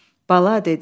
Bala dedi.